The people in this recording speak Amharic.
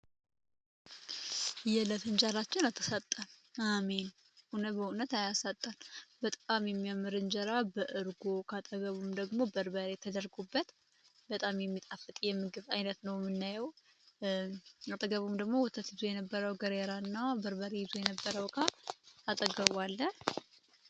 የህለፍእንጀራችን አተሳጠን አሚን እውነ በእውነት አያሳጣል በጣዓም የሚያምር እንጀራ በእርጎ ካጠገቡም ደግሞ በርበር የተደርጉበት በጣም የሚጣፍጥ የምግብ ዓይነት ነው ምናይው አጠገቡም ደግሞ ወተት ይዙ የነበረው ገሬራ እና ብርበሬ ይዙ የነበረው ካ አጠገቧለ